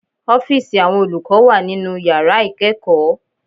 Ọ́fíìsì Àwọn olùkọ́ wà nínu yàrá ìkẹ́ẹ̀kọ̀